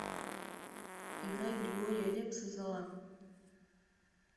играй григория лепса зола